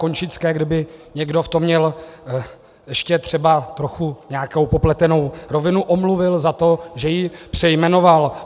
Končické, kdyby někdo v tom měl ještě třeba trochu nějakou popletenou rovinu, omluvil za to, že ji přejmenoval.